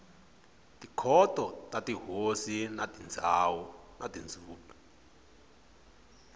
tikhoto ta tihosi na tindhuna